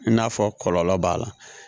I n'a fɔ kɔlɔlɔ b'a la